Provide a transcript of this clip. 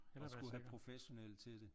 Eller skulle have professionelle til det